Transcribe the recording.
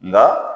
Nka